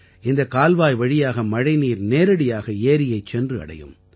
இந்தக் கால்வாய் வழியாக மழைநீர் நேரடியாக ஏரியைச் சென்று அடையும்